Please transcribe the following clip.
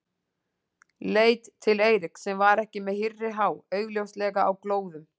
Leit til Eiríks sem var ekki með hýrri há, augljóslega á glóðum.